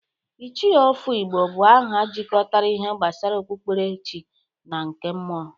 Ichie Ofo Igbo bụ aha jikọtara ihe gbasara okpukperechi na nke mmụọ,